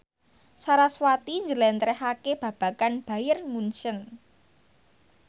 sarasvati njlentrehake babagan Bayern Munchen